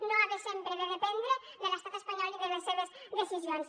no haver sempre de dependre de l’estat espanyol i de les seves decisions